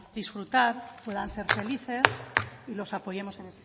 disfrutar puedan ser felices y los apoyemos en